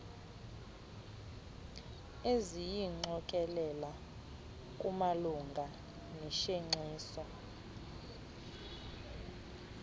eziyingqokelela kumalunga noshenxiso